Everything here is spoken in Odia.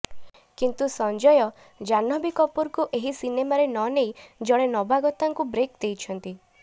କିନ୍ତୁ ସଂଜୟ ଜାହ୍ନବୀ କପୁରଙ୍କୁ ଏହି ସିନେମାରେ ନ ନେଇ ଜଣେ ନବାଗତାଙ୍କୁ ବ୍ରେକ୍ ଦେଇଛନ୍ତି